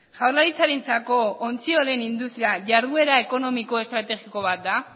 jaurlaritzarentzako ontziolen industria jarduera ekonomiko estrategiko bat da